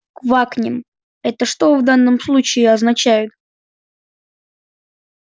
квакнем это что в данном случае означает